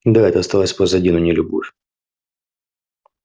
да это осталось позади но не любовь